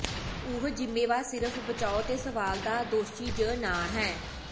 ਉਹ ਜ਼ਿੰਮੇਵਾਰ ਸਿਰਫ ਬਚਾਓ ਦੇ ਸਵਾਲ ਦਾ ਦੋਸ਼ੀ ਜ ਨਾ ਹੈ